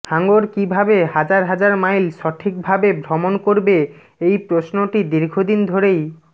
হাঙর কীভাবে হাজার হাজার মাইল সঠিকভাবে ভ্রমণ করবে এই প্রশ্নটি দীর্ঘদিন ধরেই